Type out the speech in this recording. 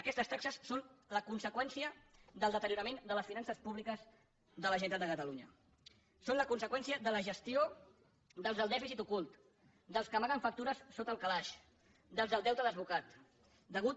aquestes taxes són la conseqüència del deteriorament de les finances públiques de la generalitat de catalunya són la conseqüència de la gestió dels del dèficit ocult dels que amaguen factures sota el calaix dels del deute desbocat